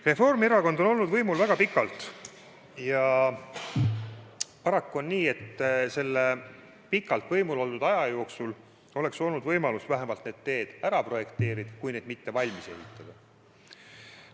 Reformierakond on olnud võimul väga pikalt ja paraku on nii, et selle pikalt võimul oldud aja jooksul oleks olnud võimalus vähemalt need teed ära projekteerida, kui mitte neid valmis ehitada.